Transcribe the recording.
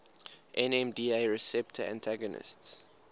nmda receptor antagonists